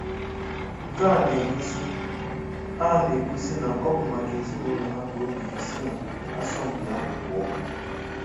Nke a na-egosi a na-egosi na ọ bụ maka ezinaụlọ ha ka o jiri si na asọmpị ahụ pụọ.